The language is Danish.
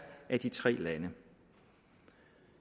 af de tre lande